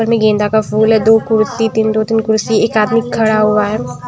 गेंदा का फूल है। दो कुर्सी तीन दो तीन कुर्सी एक आदमी खड़ा हुआ है।